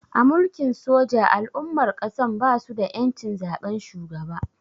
A Mulkin soja al'ummar ƙasan basu da ƴancin zaben shugaba